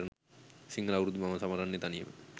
සිංහල අවුරුද්ද මම සමරන්නේ තනියම.